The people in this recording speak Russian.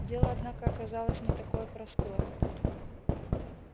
дело однако оказалось не такое простое